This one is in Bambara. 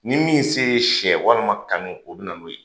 Ni min se ye siyɛ walima kami o bi na n'o ye.